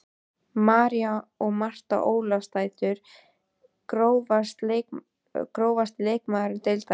María og Marta Ólafsdætur Grófasti leikmaður deildarinnar?